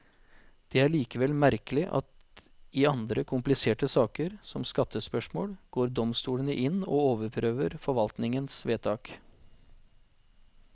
Det er likevel merkelig at i andre kompliserte saker, som skattespørsmål, går domstolene inn og overprøver forvaltningens vedtak.